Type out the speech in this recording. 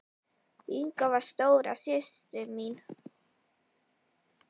Inga var stóra systir mín.